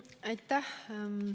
Aitäh!